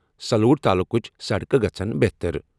سلوڑ تعلقٕچ سڑکہٕ گژھنَ بہتٔریٖن۔